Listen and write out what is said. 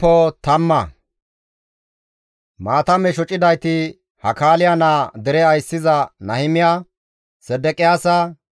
Maatame shocidayti Hakaaliya naa dere ayssiza Nahimiya, Sedeqiyaasa,